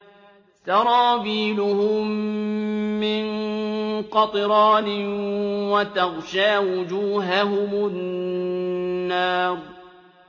سَرَابِيلُهُم مِّن قَطِرَانٍ وَتَغْشَىٰ وُجُوهَهُمُ النَّارُ